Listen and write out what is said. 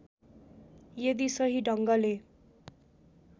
यदि सही ढङ्गले